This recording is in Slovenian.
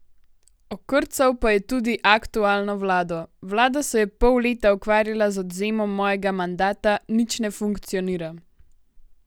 Okrcal pa je tudi aktualno vlado: 'Vlada se je pol leta ukvarjala z odvzemom mojega mandata, nič ne funkcionira.